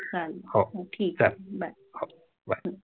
चालेल हो ठीक आहे Bye